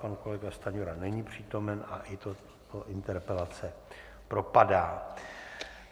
Pan kolega Stanjura není přítomen a i tato interpelace propadá.